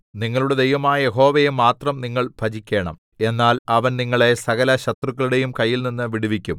നിങ്ങളുടെ ദൈവമായ യഹോവയെ മാത്രം നിങ്ങൾ ഭജിക്കേണം എന്നാൽ അവൻ നിങ്ങളെ സകലശത്രുക്കളുടെയും കയ്യിൽനിന്ന് വിടുവിക്കും